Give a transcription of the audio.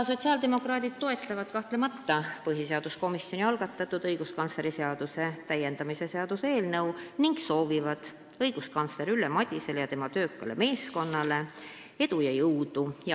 Sotsiaaldemokraadid kahtlemata toetavad põhiseaduskomisjoni algatatud õiguskantsleri seaduse täiendamise seaduse eelnõu ning soovivad õiguskantsler Ülle Madisele ja tema töökale meeskonnale edu ja jõudu.